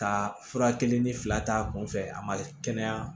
Ka fura kelen ni fila t'a kun fɛ a ma kɛnɛya